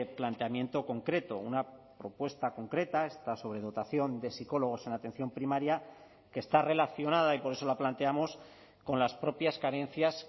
planteamiento concreto una propuesta concreta esta sobredotación de psicólogos en atención primaria que está relacionada y por eso la planteamos con las propias carencias